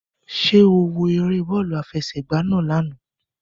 Ṣé ó wo eré bọ́ọ̀lù àfẹsẹ̀gba náà lánàá?